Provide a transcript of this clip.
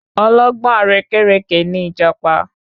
Ọlọ́gbọ́n àrékérekè ní ìjàpá